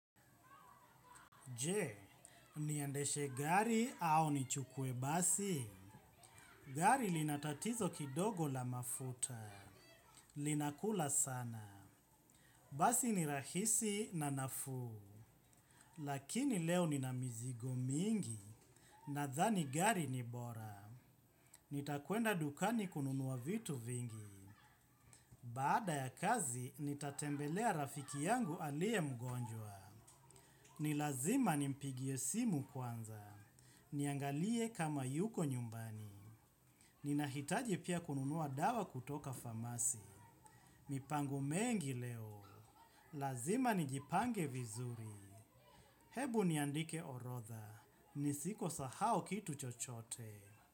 Je, niendeshe gari au nichukue basi? Gari linatatizo kidogo la mafuta. Linakula sana. Basi ni rahisi na nafuu. Lakini leo nina mizigo mingi. Nadhani gari ni bora. Nitakuenda dukani kununua vitu vingi. Baada ya kazi, nitatembelea rafiki yangu alie mgonjwa. Nilazima nimpigie simu kwanza. Niangalie kama yuko nyumbani. Ninahitaji pia kununuwa dawa kutoka famasi. Mipango mengi leo. Lazima nijipange vizuri. Hebu niandike orotha. Nisiko sahau kitu chochote.